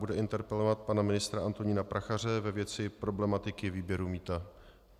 Bude interpelovat pana ministra Antonína Prachaře ve věci problematiky výběru mýta.